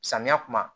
Samiya kuma